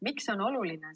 Miks see on oluline?